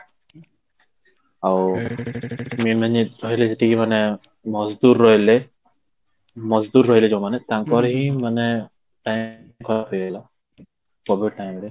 ଆଉ ଯେତିକି ମାନେ ରହିଲେ ରହିଲେ ଯୋଉ ମାନେ ତାଙ୍କର ହି ମାନେ time ଖରାପ ହେଇ ଗଲା COVID time ରେ